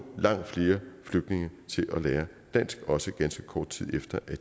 langt flere flygtninge til at lære dansk også ganske kort tid efter